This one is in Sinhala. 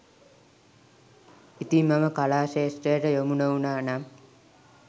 ඉතිං මම කලා ක්‍ෂේත්‍රයට යොමු නොවුණා නම්